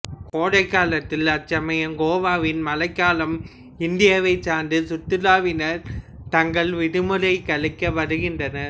கோடைகாலத்தில் அச்சமயம் கோவாவின் மழைக்காலம் இந்தியாவைச் சார்ந்த சுற்றுலாவினர் தங்கள் விடுமுறையை கழிக்க வருகின்றனர்